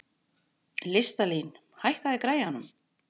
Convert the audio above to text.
Listalín, hækkaðu í græjunum.